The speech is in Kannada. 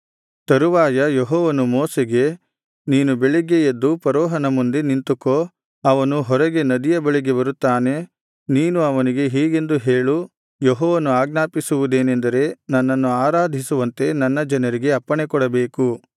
ತರುವಾಯ ಯೆಹೋವನು ಮೋಶೆಗೆ ನೀನು ಬೆಳಿಗ್ಗೆ ಎದ್ದು ಫರೋಹನ ಮುಂದೆ ನಿಂತುಕೋ ಅವನು ಹೊರಗೆ ನದಿಯ ಬಳಿಗೆ ಬರುತ್ತಾನೆ ನೀನು ಅವನಿಗೆ ಹೀಗೆಂದು ಹೇಳು ಯೆಹೋವನು ಆಜ್ಞಾಪಿಸುವುದೇನೆಂದರೆ ನನ್ನನ್ನು ಆರಾಧಿಸುವಂತೆ ನನ್ನ ಜನರಿಗೆ ಅಪ್ಪಣೆಕೊಡಬೇಕು